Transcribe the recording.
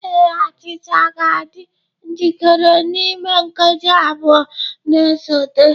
Ee, achịcha ga-adị njikere n'ime nkeji abụọ na-esote.